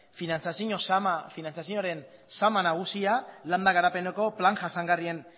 finantziazioaren sama landa garapeneko plan jasangarrien